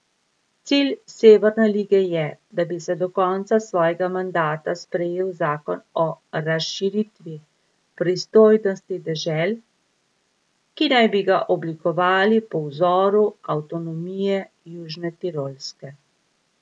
Cilj Severne lige je, da bi se do konca svojega mandata sprejel zakon o razširitvi pristojnosti dežel, ki naj bi ga oblikovali po vzoru avtonomije Južne Tirolske.